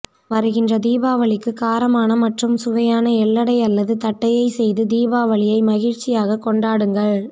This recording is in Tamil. வருகின்ற தீபாவளிக்கு காரமான மற்றும் சுவையான எள்ளடை அல்லது தட்டையை செய்து தீபாவளியை மகிழ்ச்சியாக கொண்டாடுங்கள்